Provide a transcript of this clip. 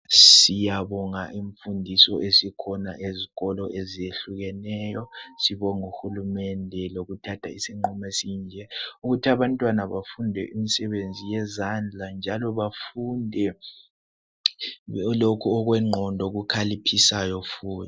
Siyabonga imfundiso esikhona ezikolo eziyehlukeneyo. Sibong' ohulumende lokuthatha isinqumo esinje, ukuthi abantwana bafunde imisebenzi yezandla njalo bafunde lokhu okwengqondo okukhaliphisayo futhi.